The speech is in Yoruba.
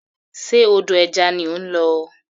Ṣe odò ẹja ni ó ń lọ?